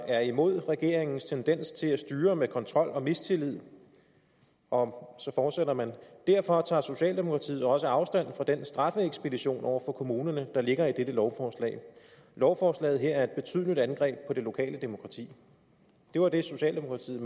er imod regeringens tendens til at styre med kontrol og mistillid og så fortsætter man derfor tager socialdemokratiet også afstand fra den straffeekspedition over for kommunerne der ligger i dette lovforslag lovforslaget her er et betydeligt angreb på det lokale demokrati det var det socialdemokratiet